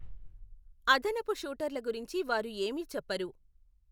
అదనపు షూటర్ల గురించి వారు ఏమీ చెప్పరు.